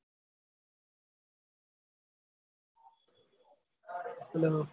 hello